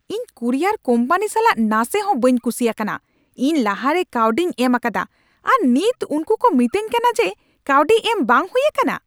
ᱤᱧ courier company ᱥᱟᱞᱟᱜ ᱱᱟᱥᱮ ᱦᱚᱸ ᱵᱟᱹᱧ ᱠᱩᱥᱤ ᱟᱠᱟᱱᱟ ᱾ ᱤᱧ ᱞᱟᱦᱟ ᱨᱮ ᱠᱟᱹᱣᱰᱤᱧ ᱮᱢ ᱟᱠᱟᱫᱟ, ᱟᱨ ᱱᱤᱛ ᱩᱱᱠᱩ ᱠᱚ ᱢᱤᱛᱟᱹᱧ ᱠᱟᱱᱟ ᱡᱮ ᱠᱟᱹᱣᱰᱤ ᱮᱢ ᱵᱟᱝ ᱦᱩᱭ ᱟᱠᱟᱱᱟ ᱾